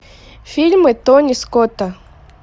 фильмы тони скотта